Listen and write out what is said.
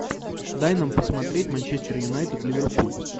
дай нам посмотреть манчестер юнайтед ливерпуль